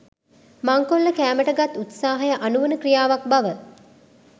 මංකොල්ල කෑමට ගත් උත්සාහය අනුවණ ක්‍රියාවක් බව